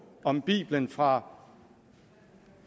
om bibelen fra